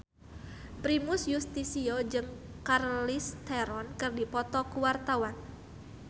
Primus Yustisio jeung Charlize Theron keur dipoto ku wartawan